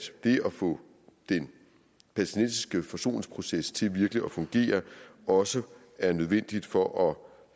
det at få den palæstinensiske forsoningsproces til virkelig at fungere også er nødvendig for at